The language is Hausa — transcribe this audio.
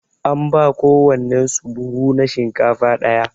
An ba kowannen su buhu na shinkafa daya.